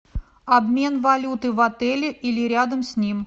обмен валюты в отеле или рядом с ним